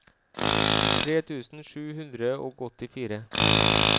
tre tusen sju hundre og åttifire